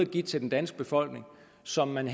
givet til den danske befolkning og som man